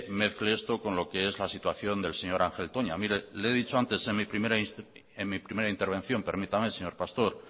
mezcle esto con lo que es la situación del señor ángel toña mire le he dicho antes en mi primera intervención permítame señor pastor